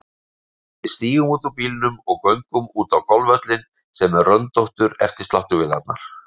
Við stígum út úr bílnum og göngum út á golfvöllinn sem er röndóttur eftir sláttuvélarnar.